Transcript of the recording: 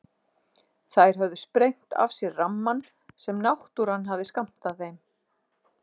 Þær höfðu sprengt af sér rammann sem náttúran hafði skammtað þeim.